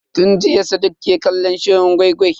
Tun jiya sadiq ke kallon shirin gwai-gwai.